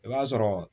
I b'a sɔrɔ